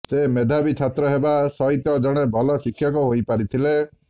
ସେ ମେଧାବୀ ଛାତ୍ର ହେବା ସହିତ ଜଣେ ଭଲ ଶିକ୍ଷକ ହୋଇପାରିଥିଲେ